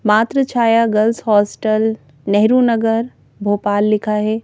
मात्र Chhaya girls hostel Nehru Nagar Bhopal लिखा है।